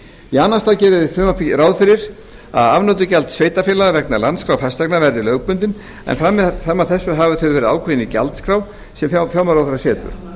í annan stað gerir frumvarpið ráð fyrir að afnotagjald sveitarfélaga vegna landskrár fasteigna verði lögbundin en fram að þessu hafa þau verið ákveðin í gjaldskrá sem fjármálaráðherra setur